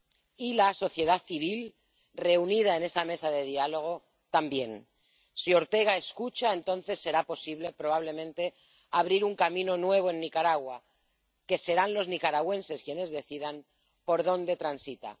y la sociedad civil, reunida en esa mesa de diálogo, también. Si Ortega escucha, entonces será posible, probablemente, abrir un camino nuevo en Nicaragua, y serán los nicaragüenses quienes decidan por dónde transita.